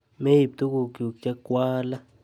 Meib tugukchu chikwaale.